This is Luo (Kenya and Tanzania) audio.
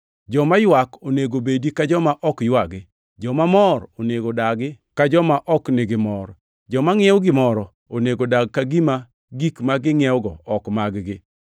joma ywak onego bedi ka joma ok ywagi; joma mor onego odag ka joma ok nigi mor; joma ngʼiewo gimoro onego odag ka gima gik ma gingʼiewogo ok mag-gi,